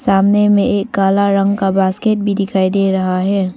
सामने में एक काला रंग का बास्केट भी दिखाई दे रहा है।